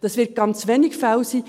Das werden ganz wenige Fälle sein.